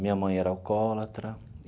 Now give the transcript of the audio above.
Minha mãe era alcoólatra.